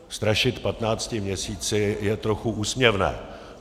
Strašit patnácti měsíci je trochu úsměvné.